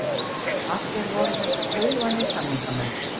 Allt voru þetta þaulvanir samningamenn.